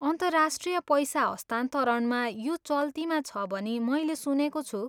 अन्तर्राष्ट्रिय पैसा हस्तान्तरणमा यो चल्तीमा छ भनी मैले सुनेको छु।